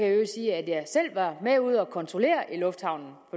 i øvrigt sige at jeg selv var med ude at kontrollere i lufthavnen